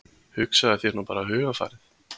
Hugsaðu þér nú bara hugarfarið.